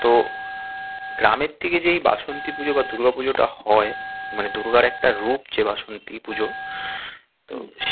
তো গ্রামের দিকে যে এই বাসন্তী পুজোটা বা দূর্গা পুজোটা হয়, মানে দুর্গার একটা রূপ যে বাসন্তী পুজো তো